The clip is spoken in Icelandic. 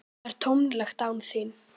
Það er tómlegt án þín.